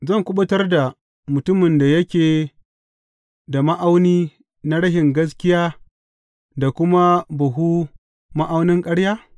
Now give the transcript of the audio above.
Zan kuɓutar da mutumin da yake da ma’auni na rashin gaskiya, da kuma buhun ma’aunan ƙarya?